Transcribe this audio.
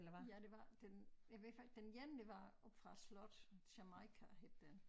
Ja det var den jeg ved faktisk den ene var oppe fra æ slot Jamaika hed den